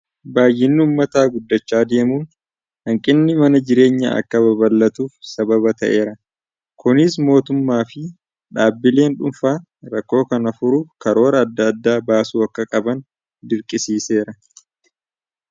Baayyinni ummataa guddachaa deemuun hanqinni mana jireenyaa akka baballatuuf sababa ta'eera, kunis mootummaa fi dhaabbileen dhuunfaa rakkoo kana furuuf karoora adda addaa baasuu akka qaban dirqisiiseera.